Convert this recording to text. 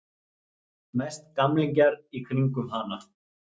Mest gamlingjar í kringum hana.